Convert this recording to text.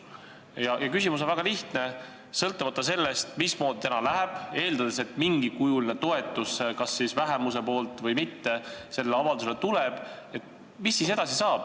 Ja mu küsimus on väga lihtne: sõltumata sellest, mismoodi täna läheb – eeldan, et sellele avaldusele tuleb toetus kas vähemuselt või mingil muul kujul –, mis saab edasi?